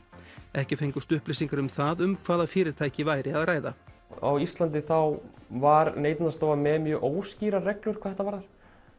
ekki fengust upplýsingar um það um hvaða fyrirtæki væri að ræða á Íslandi þá var Neytendastofa með mjög óskýrar reglur hvað þetta varðar